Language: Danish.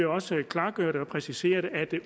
også klargøre og præcisere at det